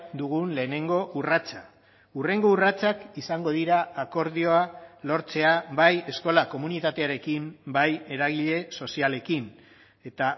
dugun lehenengo urratsa hurrengo urratsak izango dira akordioa lortzea bai eskola komunitatearekin bai eragile sozialekin eta